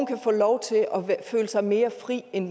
kan få lov til at føle sig mere fri end